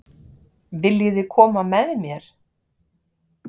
Viljiði koma með mér?